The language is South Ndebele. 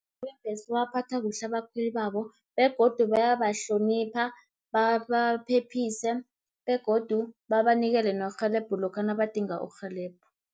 bebhesi babaphatha kuhle abakhweli babo, begodu bayabahlonipha, babaphephise begodu babanikele nerhelebho lokha nabadinga irhelebho.